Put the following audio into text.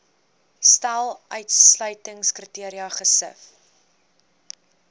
stel uitsluitingskriteria gesif